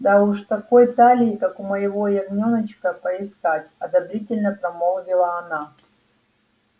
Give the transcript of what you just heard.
да уж такой талии как у моего ягнёночка поискать одобрительно промолвила она